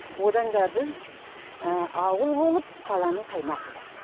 одан да біз ауыл болып қаланың қаймағы болайық